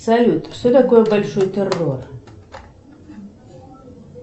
салют что такое большой террор